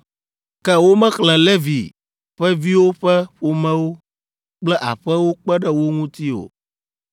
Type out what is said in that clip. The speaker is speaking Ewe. Ke womexlẽ Levi ƒe viwo ƒe ƒomewo kple aƒewo kpe ɖe wo ŋuti o.